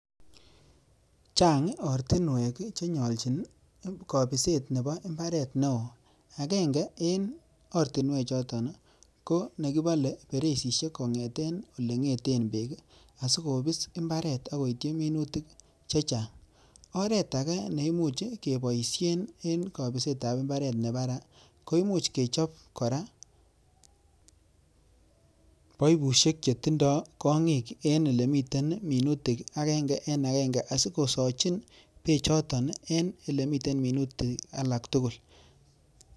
Chang ortinwek che nyolchin kobiset nebo mbaret neo agenge en ortinwek choto, ko nekibole bereisishek kong'eten ole ng'eten beek asikobis mbaret ak koityi minutik che chang'. Oret age neimuche keboishen en kobiset ab mbaret ne baraa koimuch kechob koraa baibushek che tindo kong'ik en ole miten minutik agenge en agenge asikosoochin beechoton en ele miten minutik alak tugul.